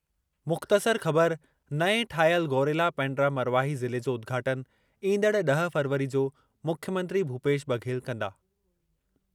मुख़्तसर ख़बर नएं ठाहियल गौरेला–पेण्ड्रा-मरवाही ज़िले जो उद्घाटनु ईंदड़ ॾह फ़रवरी जो मुख्यमंत्री भूपेश बघेल कंदा।